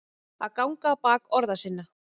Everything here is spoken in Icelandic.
Að ganga á bak orða sinna